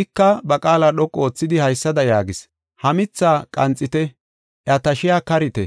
Ika ba qaala dhoqu oothidi, haysada yaagis: ‘Ha mithaa qanxite; iya tashiya karite;